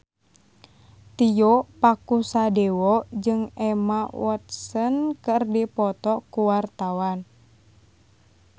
Tio Pakusadewo jeung Emma Watson keur dipoto ku wartawan